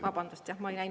Vabandust, jah!